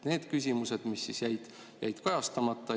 Need küsimused jäid kajastamata.